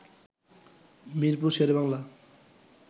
Mirpur Sher-e-Bangla